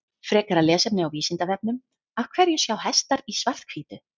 Frekara lesefni á Vísindavefnum Af hverju sjá hestar í svart-hvítu?